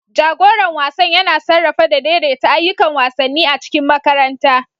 Jagoran wasan yana sarrafawa da daidaita ayyukan wasanni a cikin makaranta.